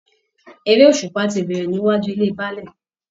Eré òṣùpá ti bẹ̀rẹ̀ níwájú ilé Baálẹ̀